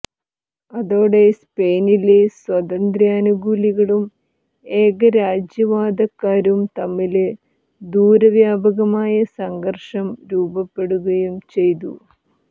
അതോടെ സ്പെയിനിലെ സ്വാതന്ത്ര്യാനുകൂലികളും ഏകരാജ്യവാദക്കാരും തമ്മില് ദൂരവ്യാപകമായ സംഘര്ഷം രൂപപ്പെടുകയും ചെയ്തു